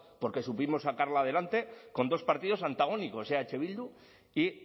porque supimos sacarla adelante con dos partidos antagónicos eh bildu y